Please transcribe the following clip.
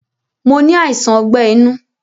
Mo ni àìsàn ogbẹ́ inú